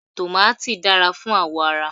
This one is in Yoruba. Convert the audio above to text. Tòmàtì dára fún àwọ̀ ara.